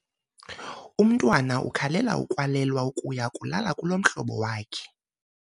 Umntwana ukhalela ukwalelwa ukuya kulala kulomhlobo wakhe.